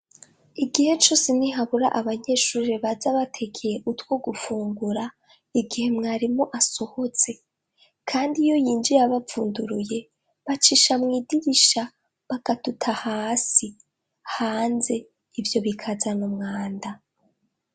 Igihe cose ntihabura abanyeshuri baza batekeye utwo gufungura, igihe mwarimu asohotse, kandi iyo yinjiye abavunduruye bacisha mw'idisha bakaduta hasi, hanze ivyo bikazana mwanda